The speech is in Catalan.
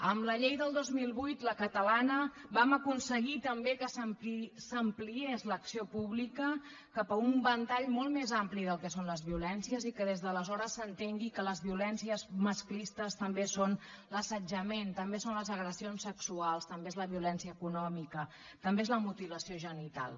amb la llei del dos mil vuit la catalana vam aconseguir també que s’ampliés l’acció pública cap a un ventall molt més ampli del que són les violències i que des d’aleshores s’entengui que les violències masclistes també són l’assetjament també són les agressions sexuals també és la violència econòmica també és la mutilació genital